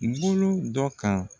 I bolo dɔ kan.